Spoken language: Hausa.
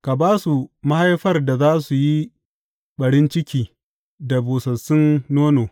Ka ba su mahaifar da za su yi ɓarin ciki da busassun nono.